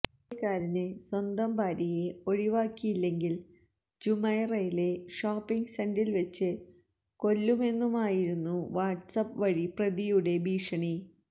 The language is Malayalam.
ഇന്ത്യക്കാരന് സ്വന്തം ഭാര്യയെ ഒഴിവാക്കിയില്ലെങ്കില് ജുമൈറയിലെ ഷോപ്പിങ് സെന്ററില് വെച്ച് കൊല്ലുമെന്നുമായിരുന്നു വാട്സ്ആപ് വഴി പ്രതിയുടെ ഭീഷണി